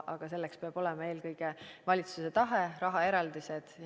Aga selleks peab olema eelkõige valitsuse tahe, rahaeraldised.